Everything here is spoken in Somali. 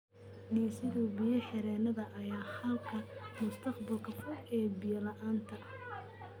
Dhisidda biyo-xireennada ayaa ah xalka mustaqbalka fog ee biyo-la'aanta.